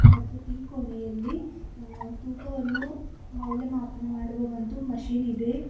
ಮತ್ತು ಈ ಕೋಣೆಯಲ್ಲಿ ಅ ತೂಕವನ್ನು ಮೌಲ್ಯಮಾಪನ ಮಾಡುವ ಒಂದು ಮಷೀನ್ ಇದೆ.